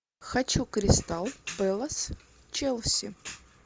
хочу кристал пэлас челси